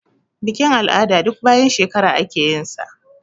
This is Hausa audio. Bikin-al'ada duk bayan shekara ake yinsa.